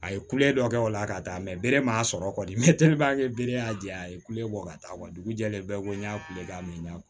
A ye kule dɔ kɛ o la ka taa mɛ bere m'a sɔrɔ kɔni tele b'a kɛ bere y'a jɛ a ye kule bɔ ka taa wa dugu jɛlen bɛɛ ko n y'a kule k'a min na